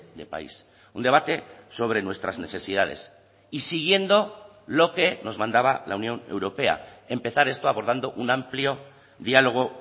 de país un debate sobre nuestras necesidades y siguiendo lo que nos mandaba la unión europea empezar esto abordando un amplio diálogo